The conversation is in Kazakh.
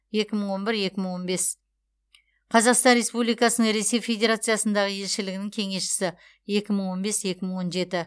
екі мың он бір екі мың он бес қазақстан республикасының ресей федерациясындағы елшілігінің кеңесшісі екі мың он бес екі мың он жеті